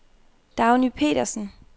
Dagny Petersen